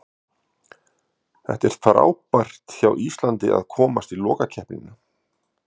Það er frábært hjá Íslandi að komast í lokakeppnina.